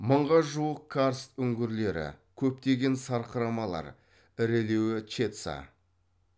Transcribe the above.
мыңға жуық карст үңгірлері көптеген сарқырамалар ірілеуі чедца